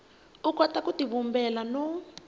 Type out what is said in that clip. u kota ku tivumbela no